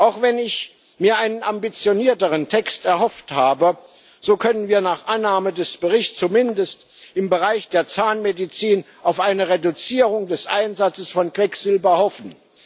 Auch wenn ich mir einen ambitionierteren Text erhofft habe, so können wir nach Annahme des Berichts zumindest im Bereich der Zahnmedizin auf eine Reduzierung des Einsatzes von Quecksilber hoffen.